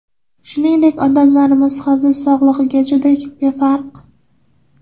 Shuningdek, odamlarimiz hozir sog‘lig‘iga juda befarq.